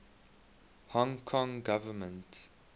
hong kong government